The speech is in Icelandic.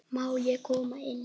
Má ég koma inn?